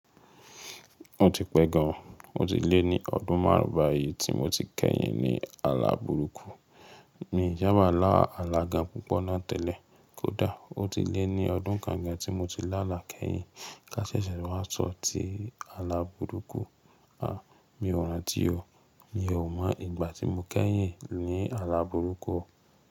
Ó ti pẹ gan an, ó ti lé ní ọdún márùn ba yìí tí mo ti kẹ́yìn ní ààlà burúkú. Mi n sá bá làá alá gan púpọ̀ náà tẹ́lẹ̀, kódà ó ti lé ní ọdún kan gan tí mo ti lála kẹ́yìn ká ṣe ṣe wá sọ̀ tí ààlà burúkú. À, mi ò rántí o, mi ò mọ ìgbà tí mo kẹ́yìn ní ààlà burúkú o.